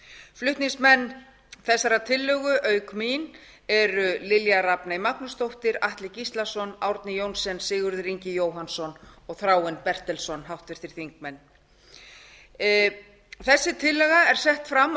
flutningsmenn þessarar tillögu auk mín eru háttvirtir þingmenn lilja rafney magnúsdóttir atli gíslason árni johnsen sigurður ingi jóhannsson og þráinn bertelsson tillaga þessi er sett fram á